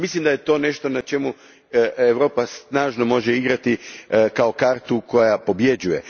Mislim da je to nešto na čemu Europa snažno može igrati kao na kartu koja pobjeđuje.